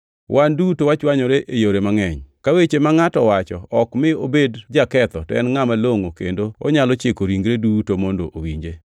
Wan duto wachwanyore e yore mangʼeny. Ka weche ma ngʼato wacho ok mi obed jaketho to en ngʼat malongʼo kendo onyalo chiko ringre duto mondo owinje.